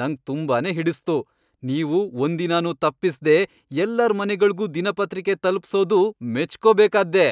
ನಂಗ್ ತುಂಬಾನೇ ಹಿಡಿಸ್ತು. ನೀವು ಒಂದಿನನೂ ತಪಿಸ್ದೇ ಎಲ್ಲಾರ್ ಮನೆಗಳ್ಗೂ ದಿನಪತ್ರಿಕೆ ತಲುಪ್ಸೋದೂ ಮೆಚ್ಕೋಬೇಕಾದ್ದೇ.